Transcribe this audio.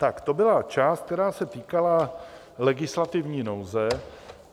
Tak to byla část, která se týkala legislativní nouze.